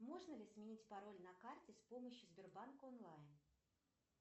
можно ли сменить пароль на карте с помощью сбербанк онлайн